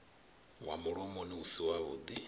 wa mulomoni u si wavhuḓi